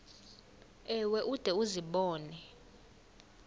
ewe ude uzibone